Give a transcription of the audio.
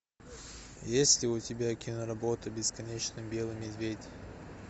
есть ли у тебя киноработа бесконечно белый медведь